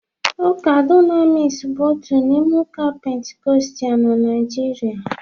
Ụka Dunamis bụ otu n'ime ụka Pentikọstal na Nigeria